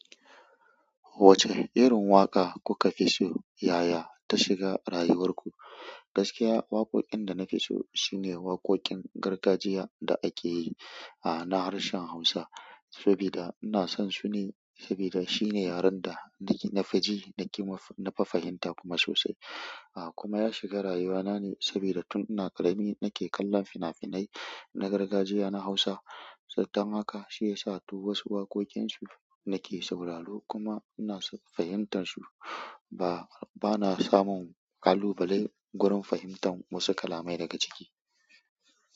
Wacce irin waƙa kuka fi so yaya ta shiga rayuwar ku? Gaskiya, waƙoƙin da na fi so shine waƙoƙin gargajiya da ake yi, a, na harshen Hausa. Saboda ina son su ne, saboda shine yaren da, da na fi ji, na fi fahimta kuma sosai. A, kuma ya shiga rayuwa na ne saboda tun ina ƙarami nake kallon fina-finai na gargajiya na Hausa. Don haka shi ya sa duk wasu waƙoƙin su nake sauraro kuma ina son fahimtar su. Ba, bana samun kalubale gurin fahimtar wasu kalamai daga ciki.